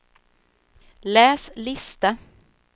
läs lista